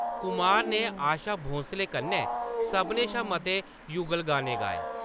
कुमार ने आशा भोसले कन्नै सभनें शा मते युगल गाने गाए।